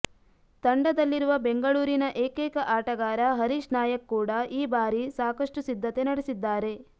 ತಂಡದಲ್ಲಿರುವ ಬೆಂಗಳೂರಿನ ಏಕೈಕ ಆಟಗಾರ ಹರೀಶ್ ನಾಯಕ್ ಕೂಡ ಈ ಭಾರಿ ಸಾಕಷ್ಟು ಸಿದ್ಧತೆ ನಡೆಸಿದ್ದಾರೆ